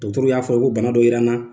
y'a fɔ ko bana dɔ yera n na